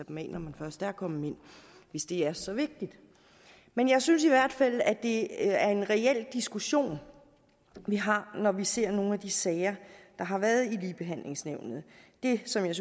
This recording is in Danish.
man først er kommet ind hvis det er så vigtigt men jeg synes i hvert fald at det er en reel diskussion vi har når vi ser nogle af de sager der har været i ligebehandlingsnævnet det som jeg